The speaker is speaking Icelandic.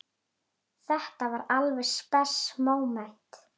Þetta var alveg spes móment.